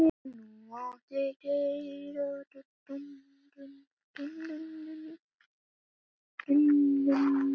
Þoldi ekki droll og leti.